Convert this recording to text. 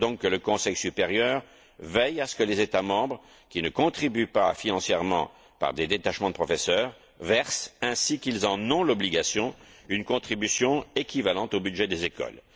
Il faut donc que le Conseil supérieur veille à ce que les États membres qui ne contribuent pas financièrement par des détachements de professeurs versent, ainsi qu'ils en ont l'obligation, une contribution équivalente au budget des écoles.